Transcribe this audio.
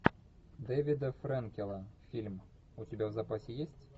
дэвида фрэнкела фильм у тебя в запасе есть